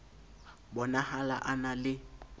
bo nahala a na le